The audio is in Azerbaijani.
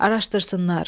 Araşdırsınlar.